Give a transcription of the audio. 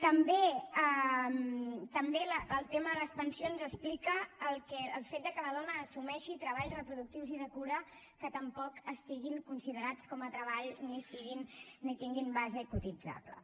també el tema de les pensions explica el fet que la dona assumeixi treballs reproductius i de cura que tampoc estiguin considerats com a treball ni tinguin base cotitzable